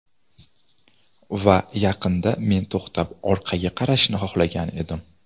Va yaqinda men to‘xtab orqaga qarashni xohlagan edim.